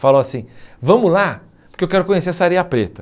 Falou assim, vamos lá, porque eu quero conhecer essa areia preta.